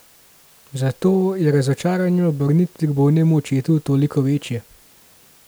Zato je razočaranje ob vrnitvi k bolnemu očetu toliko večje.